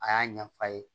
A y'a ɲɛ f'a ye